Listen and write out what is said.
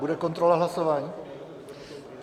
Bude kontrola hlasování?